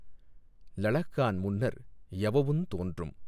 லளஃகான் முன்னர் யவவுந் தோன்றும்.